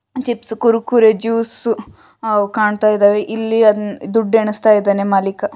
Chips Kurkure juice ಅವು ಕಾಣತಾಯಿದಾವೆ ಇಲ್ಲಿ ದುಡ್ಡು ಎಣಿಸ್ತಾಯಿದ್ದಾನೆ ಮಾಲಿಕ.